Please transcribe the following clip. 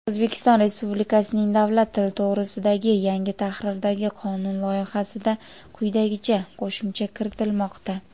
"O‘zbekiston Respublikasining davlat tili to‘g‘risida"gi yangi tahrirdagi qonun loyihasida quyidagicha qo‘shimcha kiritilmoqda:.